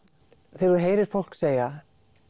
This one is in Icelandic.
þegar þú heyrir fólk segja